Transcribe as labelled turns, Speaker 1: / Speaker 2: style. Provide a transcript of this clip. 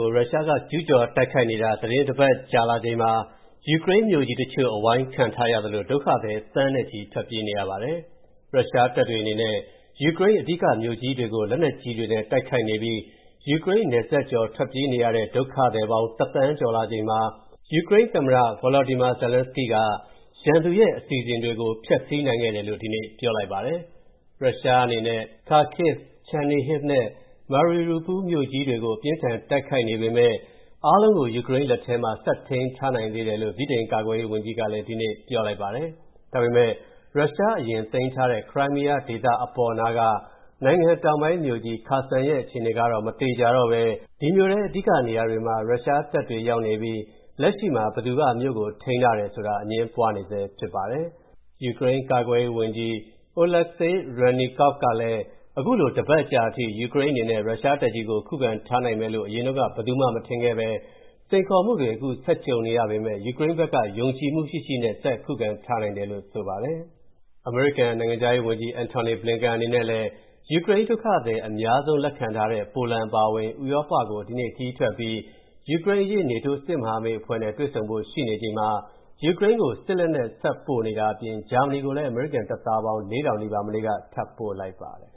Speaker 1: ို ရုရှားကကျူးကျော်တိုက်ခိုက်နေတာ သီတင်းတပတ်ကြာလာပြီဖြစ်ပြီး ယူကရိန်းမြို့ကြီးတချို့ အဝိုင်းခံထားရသလို ဒုက္ခသည် သန်းနဲ့ချီ ထွက်ပြေးနေရပါတယ်။ ရုရှားတပ်တွေအနေနဲ့ ယူကရိန်းရဲ့အဓိကမြို့ကြီးတွေကို လက်နက်ကြီးတွေနဲ့တိုက်ခိုက်နေပြီး ယူကရိန်းနယ်စပ်ကျော် ထွက်ပြေးနေရတဲ့ ဒုက္ခသည်ပေါင်း ၁ သန်းကျော်လာချိန်မှာ ယူကရိန်းသမ္မတ Volodymyr Zelenskyy က ရန်သူရဲ့အစီအစဉ်တွေကို ဖျက်ဆီးနိုင်ခဲ့တယ်လို့ ဒီနေ့ပြောလိုက်ပါတယ်။ ရုရှားအနေနဲ့ Kharkiv ၊ Chernihiv နဲ့ Mariupol မြို့ကြီးတွေကို အပြင်းအထန်ဆက်တိုက်နေပေမယ့် အားလုံးကို ယူကရိန်းလက်ထဲမှာ ဆက်ထိန်းထားနိုင်တယ်လို့ ဗြိတိန်ကာကွယ်ရေးဝန်ကြီးကလည်း ဒီနေ့ပြောပါတယ်။ ဒါပေမဲ့ ရုရှား အရင်သိမ်းထားခဲတဲ့ Crimea ဒေသအပေါ်နားက နိုင်ငံတောင်ပိုင်း မြို့ကြီး Kherson ရဲ့ အခြေအနေကတော့ မသေချာတော့ဘဲ ဒီမြို့ထဲ အဓိကနေရာတွေမှာ ရုရှားတပ်တွေရောက်နေပြီး လက်ရှိမှာ ဘယ်သူက မြို့ကိုထိန်းထားတယ်ဆိုတာ အငြင်းပွားနေဆဲဖြစ်ပါတယ်။ ယူကရိန်းကာကွယ်ရေးဝန်ကြီး Oleksii Reznikov ကလည်း အခုလို တပတ်ကြာအထိ ယူကရိန်းအနေနဲ့ ရုရှားတပ်ကြီးကို ခုခံထားနိုင်မယ်လို့ အရင်တုန်းက ဘယ်သူမှမထင်ခဲ့ဘဲ စိန်ခေါ်မှုကြီးတွေ ဆက်ကြုံနေရပေမယ့် ယူကရိန်းဘက်က ယုံကြည်မူရှိရှိနဲ့ ဆက်ခုခံထားနိုင်တယ်လို့ ဆိုပါတယ်။ အမေရိကန် နိုင်ငံခြားရေးဝန်ကြီး Antony Blinken အနေနဲ့လည်း ယူကရိန်းဒုက္ခသည် အများဆုံးလက်ခံထားတဲ့ ပိုလန်အပါအဝင် ဥရောပကို ဒီနေ့ခရီးထွက်ပြီး ယူကရိန်းအရေး နေတိုးစစ်မဟာမိတ်အဖွဲ့နဲ့ တွေ့ဆုံဖို့ရှိနေချိန်မှာ ယူကရိန်းကို စစ်လက်နက် ဆက်ပို့နေတာအပြင် ဂျာမနီကိုလည်း အမေရိကန်တပ်သားပေါင်း ၄,၀၀၀ နီးပါး မနေ့က ထပ်ပို့လိုက်ပါတယ်